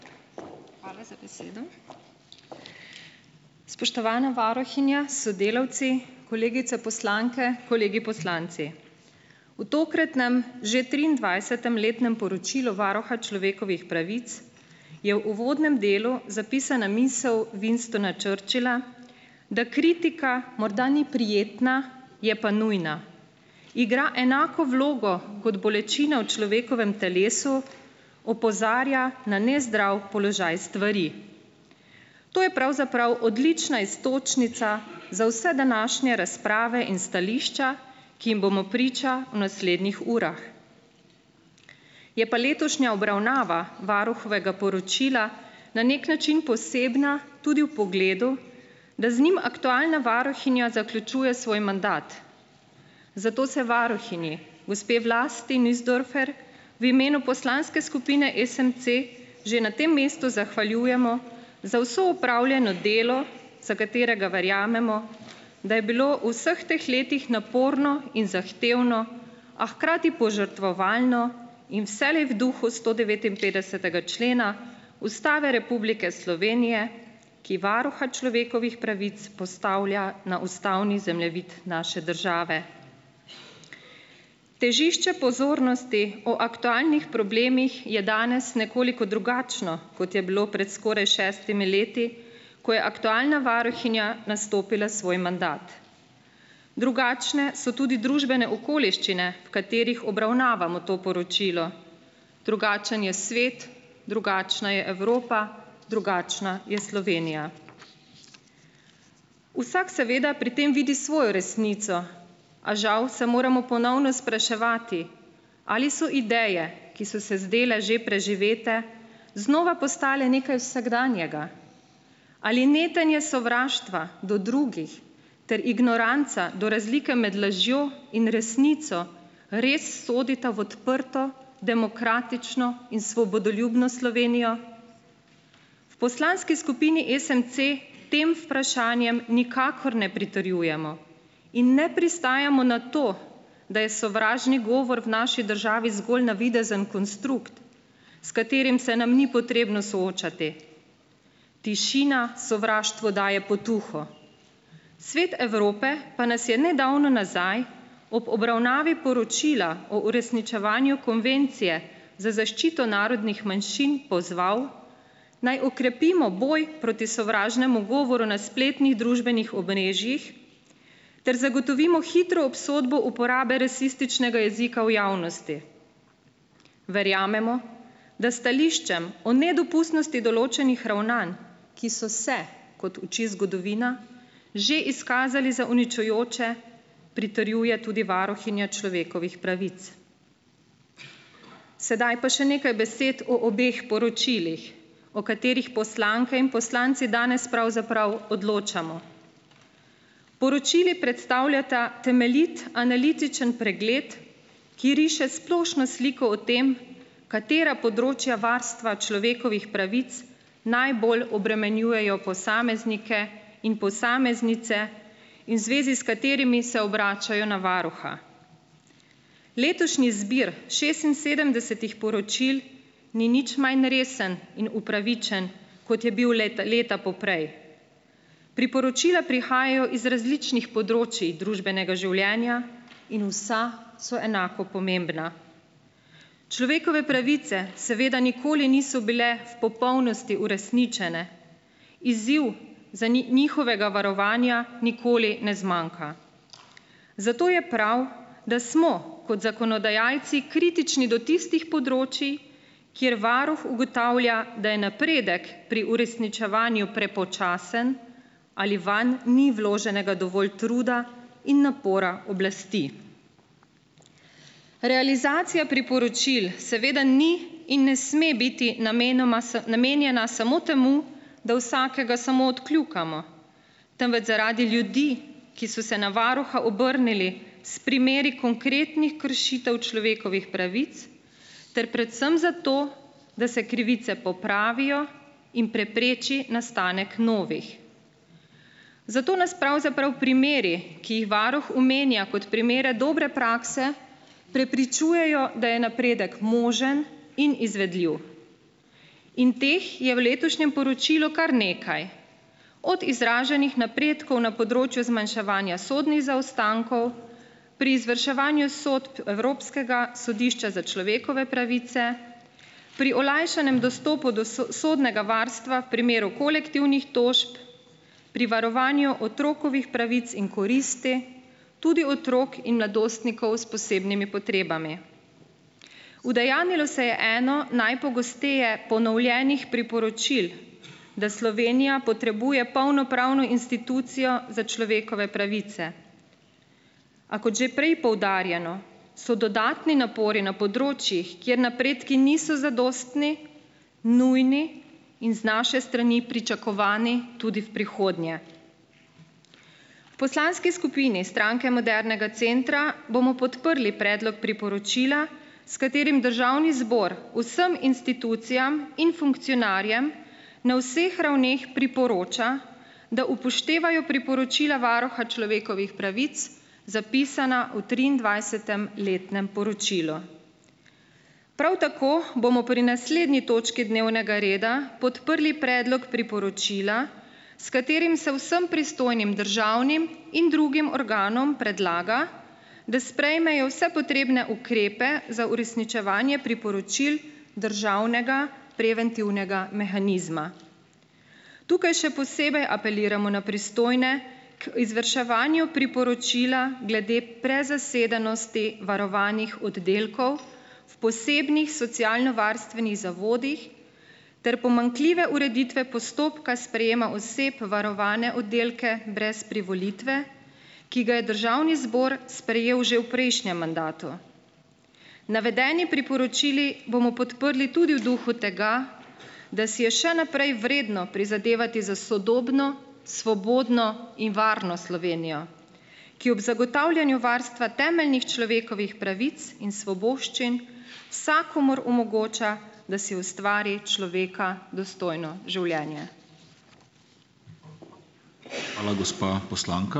Hvala za besedo. Spoštovana varuhinja s sodelavci, kolegice poslanke, kolegi poslanci! V tokratnem že triindvajsetem letnem poročilu Varuha človekovih pravic je v uvodnem delu zapisana misel Winstona Churchilla, da kritika morda ni prijetna, je pa nujna. Igra enako vlogo kot bolečina v človekovem telesu, opozarja na nezdrav položaj stvari. To je pravzaprav odlična iztočnica za vse današnje razprave in stališča, ki jim bomo priča v naslednjih urah. Je pa letošnja obravnava varuhovega poročila na nek način posebna tudi v pogledu, da z njim aktualna varuhinja zaključuje svoj mandat, zato se varuhinji, gospe Vlasti Nussdorfer v imenu Poslanske skupine SMC že na tem mestu zahvaljujemo za vse opravljeno delo, za katerega verjamemo, da je bilo v vseh teh letih naporno in zahtevno, a hkrati požrtvovalno in vselej v duhu sto devetinpetdesetega člena Ustave Republike Slovenije, ki Varuha človekovih pravic postavlja na ustavni zemljevid naše države. Težišče pozornosti o aktualnih problemih je danes nekoliko drugačno, kot je bilo pred skoraj šestimi leti, ko je aktualna varuhinja nastopila svoj mandat. Drugačne so tudi družbene okoliščine, v katerih obravnavamo to poročilo. Drugačen je svet, drugačna je Evropa, drugačna je Slovenija. Vsak seveda pri tem vidi svojo resnico. A žal se moramo ponovno spraševati, ali so ideje, ki so se zdajle že preživete, znova postale nekaj vsakdanjega. Ali netenje sovraštva do drugih ter ignoranca do razlike med lažjo in resnico res sodita v odprto, demokratično in svobodoljubno Slovenijo? V Poslanski skupini SMC tem vprašanjem nikakor ne pritrjujemo. In ne pristajamo na to, da je sovražni govor v naši državi zgolj navidezen konstrukt, s katerim se nam ni potrebno soočati. Tišina sovraštvu daje potuho. Svet Evrope pa nas je nedavno nazaj ob obravnavi poročila o uresničevanju Konvencije za zaščito narodnih manjšin pozval, naj okrepimo boj proti sovražnemu govoru na spletnih družbenih omrežjih ter zagotovimo hitro obsodbo uporabe rasističnega jezika v javnosti. Verjamemo, da stališčem o nedopustnosti določenih ravnanj, ki so se - kot uči zgodovina - že izkazali za uničujoče, pritrjuje tudi varuhinja človekovih pravic. Sedaj pa še nekaj besed o obeh poročilih. O katerih poslanke in poslanci danes pravzaprav odločamo. Poročili predstavljata temeljit analitičen pregled, ki riše splošno sliko o tem, katera področja varstva človekovih pravic najbolj obremenjujejo posameznike in posameznice in v zvezi s katerimi se obračajo na varuha. Letošnji zbir šestinsedemdesetih poročil ni nič manj resen in upravičen, kot je bil let, leta poprej. Priporočila prihajajo z različnih področij družbenega življenja in vsa so enako pomembna. Človekove pravice seveda nikoli niso bile v popolnosti uresničene. Izziv za njihovega varovanja nikoli ne zmanjka. Zato je prav, da smo kot zakonodajalci kritični do tistih področij, kjer Varuh ugotavlja, da je napredek pri uresničevanju prepočasen ali vanj ni vloženega dovolj truda in napora oblasti. Realizacija priporočil seveda ni in ne sme biti namenoma za namenjena samo temu, da vsakega samo odkljukamo, temveč zaradi ljudi, ki so se na varuha obrnili s primeri konkretnih kršitev človekovih pravic ter predvsem zato, da se krivice popravijo in prepreči nastanek novih. Zato nas pravzaprav primeri, ki jih varuh omenja kot primere dobre prakse, prepričujejo, da je napredek možen in izvedljiv. In teh je v letošnjem poročilu kar nekaj. Od izraženih napredkov na področju zmanjševanja sodnih zaostankov, pri izvrševanju sodb Evropskega sodišča za človekove pravice, pri olajšanjem dostopu do sodnega varstva v primeru kolektivnih tožb, pri varovanju otrokovih pravic in koristi, tudi otrok in mladostnikov s posebnimi potrebami. Udejanjilo se je eno najpogosteje ponovljenih priporočil, da Slovenija potrebuje polnopravno institucijo za človekove pravice. A kot že prej poudarjeno, so dodatni napori na področjih, kjer napredki niso zadostni, nujni in z naše strani pričakovani tudi v prihodnje. V Poslanski skupini Stranke modernega centra bomo podprli predlog priporočila, s katerim Državni zbor vsem institucijam in funkcionarjem na vseh ravneh priporoča, da upoštevajo priporočila Varuha človekovih pravic, zapisana v triindvajsetem letnem poročilu. Prav tako bomo pri naslednji točki dnevnega reda podprli predlog priporočila, s katerim se vsem pristojnim državnim in drugim organom predlaga, da sprejmejo vse potrebne ukrepe za uresničevanje priporočil državnega preventivnega mehanizma. Tukaj še posebej apeliramo na pristojne k izvrševanju priporočila glede prezasedenosti varovanih oddelkov v posebnih socialnovarstvenih zavodih ter pomanjkljive ureditve postopka sprejema oseb varovane oddelke brez privolitve, ki ga je Državni zbor sprejel že v prejšnjem mandatu. Navedeni priporočili bomo podprli tudi v duhu tega, da si je še naprej vredno prizadevati za sodobno, svobodno in varno Slovenijo, ki ob zagotavljanju varstva temeljnih človekovih pravic in svoboščin vsakomur omogoča, da si ustvari človeka dostojno življenje.